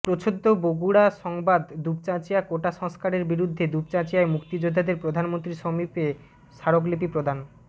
প্রচ্ছদ বগুড়া সংবাদ দুপচাচিঁয়া কোটা সংস্কারের বিরুদ্ধে দুপচাঁচিয়ায় মুক্তিযোদ্ধাদের প্রধানমন্ত্রী সমীপে স্মারকলিপি প্রদান